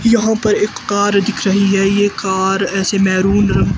यहां पर एक कार दिख रही है। ये कार ऐसे मेरून रंग--